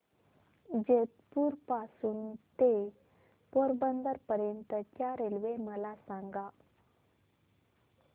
जेतपुर पासून ते पोरबंदर पर्यंत च्या रेल्वे मला सांगा